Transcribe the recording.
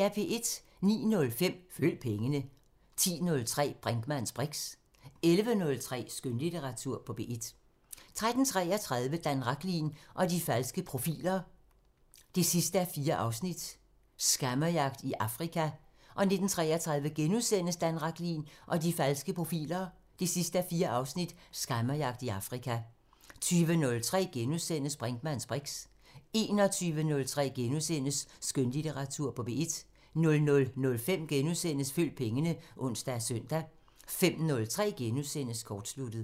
09:05: Følg pengene 10:03: Brinkmanns briks 11:03: Skønlitteratur på P1 13:33: Dan Rachlin og de falske profiler 4:4 – Scammerjagt i Afrika 19:33: Dan Rachlin og de falske profiler 4:4 – Scammerjagt i Afrika * 20:03: Brinkmanns briks * 21:03: Skønlitteratur på P1 * 00:05: Følg pengene *(ons og søn) 05:03: Kortsluttet *